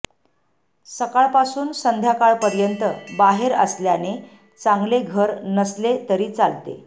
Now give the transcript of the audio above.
सकाळपासून संध्याकाळपर्यंत बाहेर असल्याने चांगले घर नसले तरी चालते